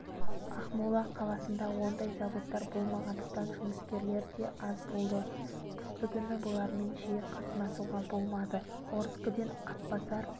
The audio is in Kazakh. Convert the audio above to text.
ақмола қаласында ондай заводтар болмағандықтан жұмыскерлер де аз болды қыстыгүні бұлармен жиі қатынасуға болмады орскіден атбасар